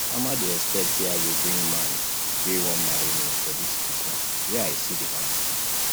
mama dey expect say i go bring man wey wan marry me for dis christmas where i see the man